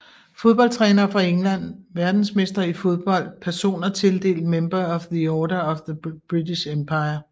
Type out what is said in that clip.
Fodboldtrænere fra England Verdensmestre i fodbold Personer tildelt Member of the Order of the British Empire